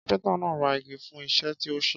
Kápẹ́ńtà náà ra igi fún iṣẹ́ tí ó ṣe.